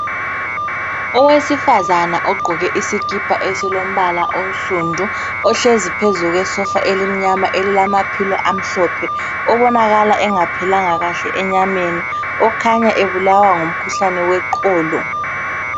Owesifazana ogqoke isikipa esilombala onsundu, ohlezi phezu kwesofa elimnyama elilamapillow amhlophe obonakala engaphilanga kahle enyameni, okhanya ebulawa ngumkhuhlane weqolo.